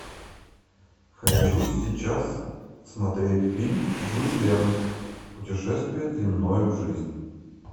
хочу сейчас смотреть фильм жюль верн путешествие длиною в жизнь